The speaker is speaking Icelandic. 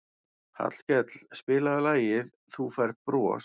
Hallkell, spilaðu lagið „Þú Færð Bros“.